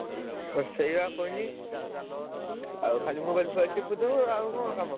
ହଁ ସେଇଆ କହିଲି ଆଉ ଖାଲି mobile ଫୋବାଇଲ ଚିପୁଥିବୁ ଆଉ କଣ କାମ?